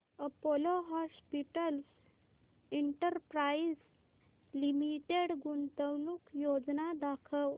Apollo Hospitals Enterprise Limited गुंतवणूक योजना दाखव